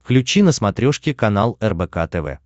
включи на смотрешке канал рбк тв